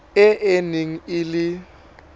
e e neng e le